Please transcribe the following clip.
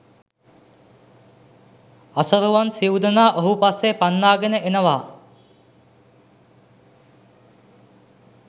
අසරුවන් සිව්දෙනා ඔහු පස්සේ පන්නාගෙන එනවා